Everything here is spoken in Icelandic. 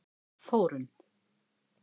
Þórunn